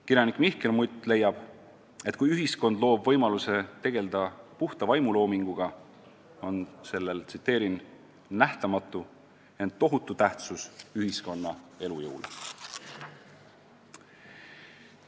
" Kirjanik Mihkel Mutt leiab, et kui ühiskond loob võimaluse tegelda puhta vaimuloominguga, on sellel "nähtamatu, ent tohutu tähtsus ühiskonna elujõule".